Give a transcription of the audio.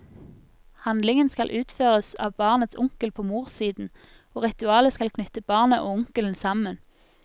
Handlingen skal utføres av barnets onkel på morssiden, og ritualet skal knytte barnet og onkelen sammen.